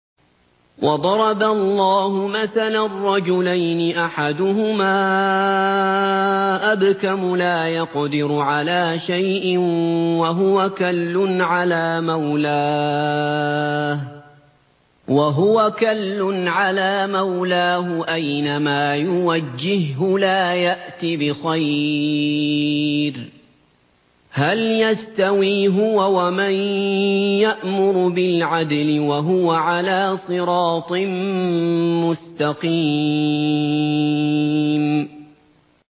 وَضَرَبَ اللَّهُ مَثَلًا رَّجُلَيْنِ أَحَدُهُمَا أَبْكَمُ لَا يَقْدِرُ عَلَىٰ شَيْءٍ وَهُوَ كَلٌّ عَلَىٰ مَوْلَاهُ أَيْنَمَا يُوَجِّههُّ لَا يَأْتِ بِخَيْرٍ ۖ هَلْ يَسْتَوِي هُوَ وَمَن يَأْمُرُ بِالْعَدْلِ ۙ وَهُوَ عَلَىٰ صِرَاطٍ مُّسْتَقِيمٍ